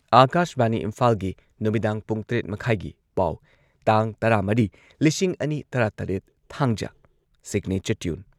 ꯑꯥꯀꯥꯁꯕꯥꯅꯤ ꯏꯝꯐꯥꯜꯒꯤ ꯅꯨꯃꯤꯗꯥꯡ ꯄꯨꯡ ꯇꯔꯦꯠ ꯃꯈꯥꯢꯒꯤ ꯄꯥꯎ ꯇꯥꯡ ꯇꯔꯥꯃꯔꯤ ꯂꯤꯁꯤꯡ ꯑꯅꯤ ꯇꯔꯥꯇꯔꯦꯠ, ꯊꯥꯡꯖ ꯁꯤꯒꯅꯦꯆꯔ ꯇ꯭ꯌꯨꯟ